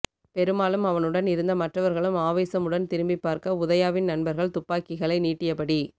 பெருமாளும் அவனுடன் இருந்த மற்றவர்களும் ஆவேசமுடன் திரும்பி பார்க்க உதயாவின் நண்பர்கள் துப்பாக்கிகளை நீட்டியபடி